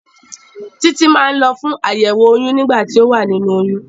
Títí máa ń lọ fún àyẹ̀wò oyún nígbà tí o wà nínú oyún.